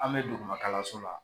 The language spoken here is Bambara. An bɛ dugumakalanso la